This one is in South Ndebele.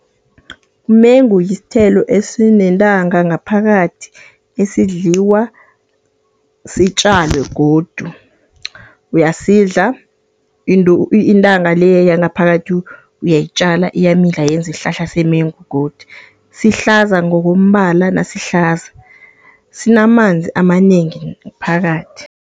Umengo yisithelo esinentanga ngaphakathi esidliwa, sitjalwe godu. Uyasidla intanga le yangaphakathi uyayitjala, iyamila yenza isihlahla semengu godu. Sihlaza ngokombala nasihlaza, sinamanzi amanengi phakathi.